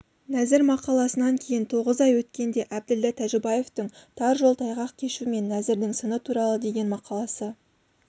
нәзір мақаласынан кейін тоғыз ай өткенде әбділда тәжібаевтың тар жол тайғақ кешу мен нәзірдің сыны туралы деген мақаласы